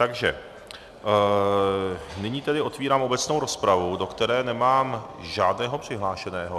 Takže nyní tedy otevírám obecnou rozpravu, do které nemám žádného přihlášeného.